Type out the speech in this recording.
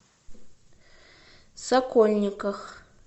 сокольниках